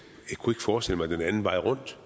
kunne forestille mig det den anden vej rundt